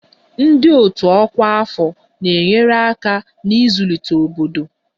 Ndị otu ọkwa afọ na-enyere aka n'ịzụlite obodo